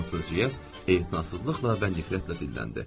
Fransızcasız etinasızlıqla və nifrətlə dinləndi.